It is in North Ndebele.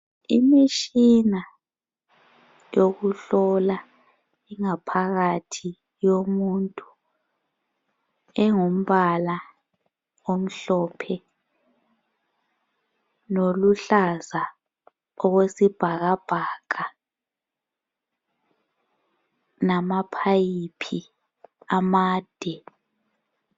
Imitshina yokuhlola ingaphakathi yomuntu engumbala omhlophe loluhlaza okwesibhakabhaka, nama phayiphi amade